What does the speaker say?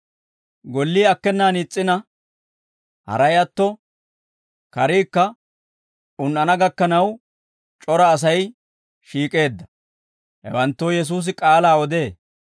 Gollii akkenaan is's'ina, haray atto, kariikka un"ana gakkanaw c'ora Asay shiik'eedda; hewanttoo Yesuusi k'aalaa odee.